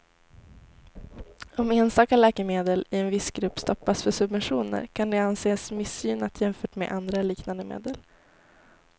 Om enstaka läkemedel i en viss grupp stoppas för subventioner kan det anses missgynnat jämfört med andra liknande medel.